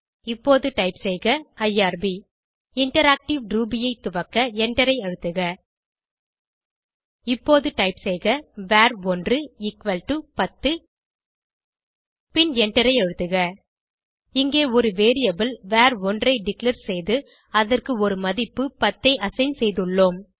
இப்போது டைப் செய்க IRB interactive Ruby ஐ துவக்க எண்டரை அழுத்துக இப்போது டைப் செய்க வர்1 எக்குவல் டோ 10 பின் எண்டரை அழுத்துக இங்கே ஒரு வேரியபிள் வர்1 ஐ டிக்ளேர் செய்து அதற்கு ஒரு மதிப்பு 10 ஐ அசைன் செய்துள்ளோம்